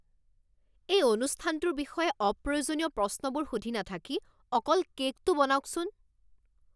এই অনুষ্ঠানটোৰ বিষয়ে অপ্ৰয়োজনীয় প্ৰশ্নবোৰ সুধি নাথাকি অকল কে'কটো বনাওকচোন।